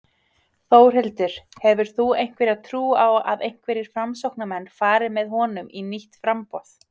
Þórhildur: Hefur þú einhverja trú á að einhverjir Framsóknarmenn fari með honum í nýtt framboð?